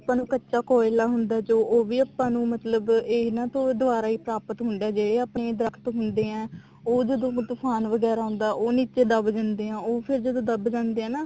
ਆਪਾਂ ਨੂੰ ਕੱਚਾ ਕੋਲਿਆ ਹੁੰਦਾ ਜੋ ਉਹ ਵੀ ਆਪਾਂ ਨੂੰ ਮਤਲਬ ਇਹਨਾ ਤੋਂ ਦਵਾਰਾ ਹੀ ਪ੍ਰਾਪਤ ਹੁੰਦਾ ਜੇ ਇਹ ਆਪਣੇ ਦਰਖਤ ਹੁੰਦੇ ਆ ਉਹ ਜਦੋਂ ਤੁਫਾਨ ਵਗੈਰਾ ਆਉਂਦਾ ਉਹ ਨੀਚੇ ਦਬ ਜਾਂਦੇ ਆ ਉਹ ਫ਼ੇਰ ਜਦੋਂ ਦਬ ਜਾਂਦੇ ਆ ਨਾ